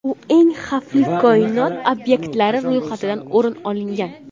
U eng xavfli koinot obyektlari ro‘yxatidan o‘rin olgan.